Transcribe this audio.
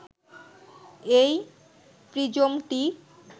এই প্রিজমটি